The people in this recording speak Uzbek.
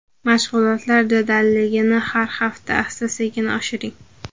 Mashg‘ulotlar jadalligini har hafta asta-sekin oshiring.